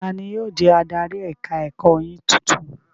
Tani yóò jẹ́ adarí ẹ̀ka-ẹ̀kọ́ yín tuntun?